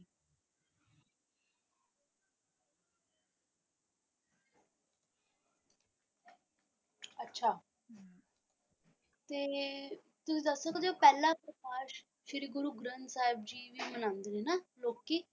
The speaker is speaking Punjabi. ਅੱਛਾ ਤੇ ਤੁਸੀਂ ਦੱਸ ਸਕਦੇ ਹੋ ਕਿ ਪਹਿਲਾ ਪ੍ਰਕਾਸ਼ ਸ਼੍ਰੀ ਗੁਰੂ ਗਰੰਥ ਸਾਹਿਬ ਜੀ ਲਈ ਮਨਾਉਂਦੇ ਨੇ ਨਾ ਲੋਕੀ ਲੋਕੀ,